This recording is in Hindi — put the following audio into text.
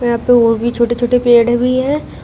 यहां पे ओ भी छोटे छोटे पेड़ भी है।